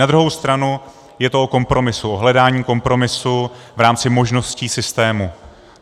Na druhou stranu je to o kompromisu, o hledání kompromisu v rámci možností systému.